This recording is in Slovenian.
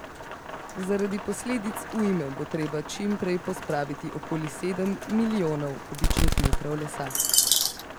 Zaradi posledic ujme bo treba čim prej pospraviti okoli sedem milijonov kubičnih metrov lesa.